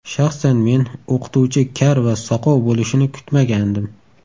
Shaxsan men o‘qituvchi kar va soqov bo‘lishini kutmagandim.